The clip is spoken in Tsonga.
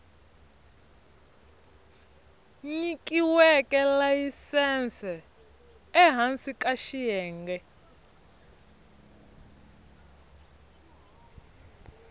nyikiweke layisense ehansi ka xiyenge